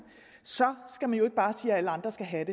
så skal man ikke bare sige at andre skal have